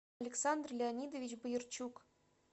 александр леонидович боярчук